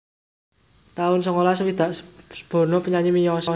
taun songolas swidak Bono penyanyi miyos